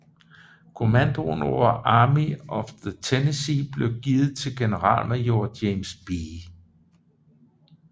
Kommandoen over Army of the Tennessee blev givet til generalmajor James B